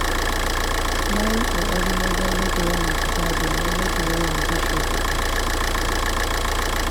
Na yi ƙoƙari wajen rage yawan fita domin rage yawan kashe kuɗi.